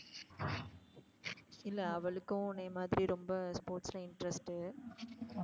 இல்ல அவளுக்கும் உன்னைய மாதிரி ரொம்ப sports ல interest டு.